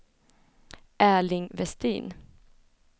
Erling Westin